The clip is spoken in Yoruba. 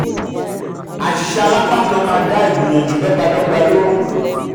àṣìṣe alápákan máa dá ìgbìyànjù dó̩gba dó̩gba lóró.